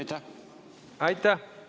Aitäh!